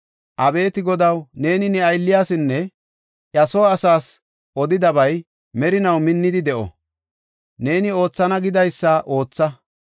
“Abeeti Godaw, neeni ne aylliyasinne iya soo asaas odidabay merinaw minnidi de7o; neeni oothana gidaysada ootha.